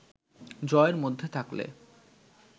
জয়ের মধ্যে থাকলে